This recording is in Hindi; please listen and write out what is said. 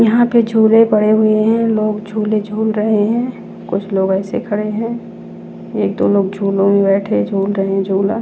यहाँ पे झूले पड़े हुए हैं लोग झूले झूल रहे हैं कुछ लोग ऐसे खड़े हैं एक दो लोग झूलों में बैठे झूल रहे हैं झूला।